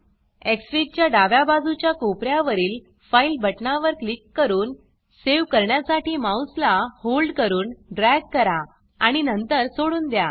Xfig च्या डाव्या बाजूच्या कोपर्यावरील फाइल बटना वर क्लिक करू सेव करण्यासाठी माउस ला होल्ड करून ड्रॅग करा आणि नंतर सोडून द्या